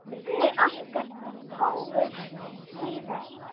Kynni okkar hófust síðar.